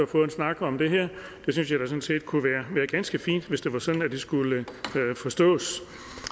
få en snak om det her det synes jeg da kunne være ganske fint hvis det var sådan det skulle forstås